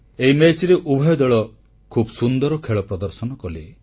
ଏହି ମ୍ୟାଚରେ ଉଭୟ ଦଳ ଖୁବ୍ ସୁନ୍ଦର ଖେଳ ପ୍ରଦର୍ଶନ କଲେ